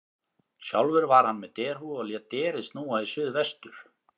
Sjálfur var hann með derhúfu og lét derið snúa í suð vestur.